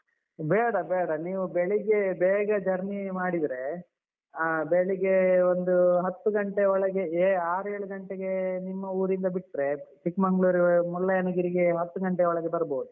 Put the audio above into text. ಬೇಡ ಬೇಡ, ನೀವು ಬೆಳಿಗ್ಗೆ ಬೇಗ journey ಮಾಡಿದ್ರೆ ಹ ಬೆಳಿಗ್ಗೆ ಒಂದು ಹತ್ತು ಘಂಟೆ ಒಳಗೆ ಆರು ಏಳು ಘಂಟೆಗೆ ನಿಮ್ಮ ಊರಿಂದ ಬಿಟ್ರೆ ಚಿಕ್ಮಂಗ್ಳೂರ್, ಮುಳ್ಳಯ್ಯನಗಿರಿಗೆ ಹತ್ತು ಘಂಟೆ ಒಳಗೆ ಬರ್ಬೋದು.